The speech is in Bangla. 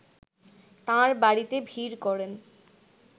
তাঁর বাড়িতে ভিড় করেন